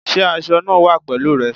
Sé aso eg náà wà pèlúù re?